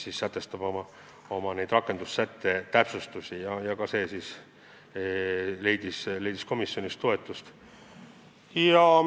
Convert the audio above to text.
See ettepanek täpsustab rakendussättes sätestatud tähtaegu ja seegi leidis komisjonis toetust.